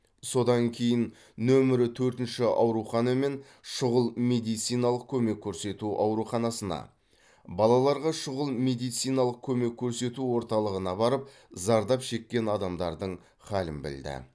содан кейін нөмірі төртінші аурухана мен шұғыл медициналық көмек көрсету ауруханасына балаларға шұғыл медициналық көмек көрсету орталығына барып зардап шеккен адамдардың халін білді